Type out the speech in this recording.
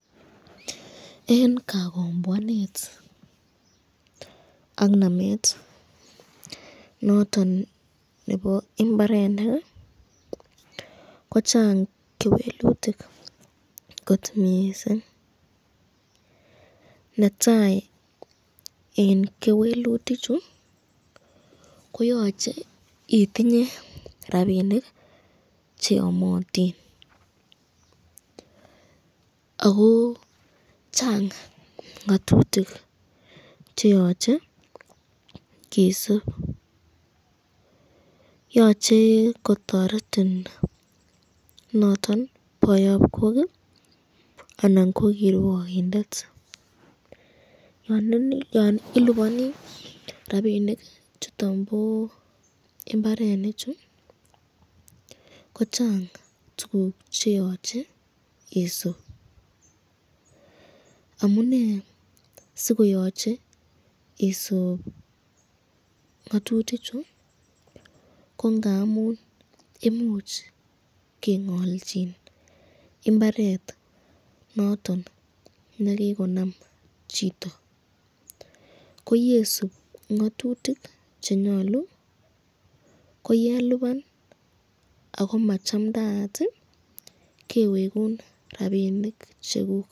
en kagomboanet ak nameet noton nebo imbarenik iih kochang kewelutik kot mising, netai en kewelutik chu koyoche itinye rabinik cheomotiin ago chang ngotutik cheyoche kesuub, yoche kotoretin noton boyoob kook iih anan ko kirwogindet, yoon ilibonii rabinik chuton bo imbarenik chu, kochang tuguk cheyoche isuub, amunee sigoyoche isuub ngotutik chu ngo ngamuun imuch kengolchin imbareet noton negigonam chito, ko yesuub ngotutik chenyolu koyelibaan ago machamdaat iiih kewegun rabinik cheguuk.